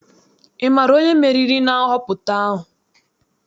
Ị maara onye meriri na nhọpụta ahụ?